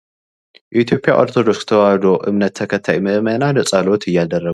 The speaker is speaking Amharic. የኢትዮጵያ ኦርቶዶክስ ተዋሕዶ እምነት ተከታይ ምዕመናን ፀሎት እያደረጉ ።